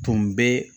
Tun bɛ